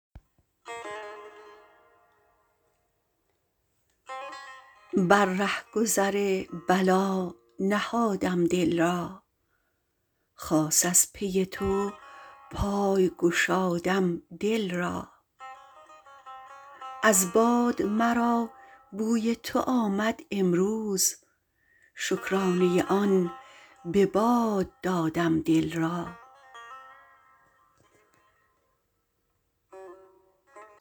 بر رهگذر بلا نهادم دل را خاص از پی تو پای گشادم دل را از باد مرا بوی تو آمد امروز شکرانه آن به باد دادم دل را